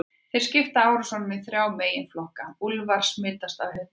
Þeir skipta árásunum í þrjá meginflokka: Úlfar smitaðir af hundaæði.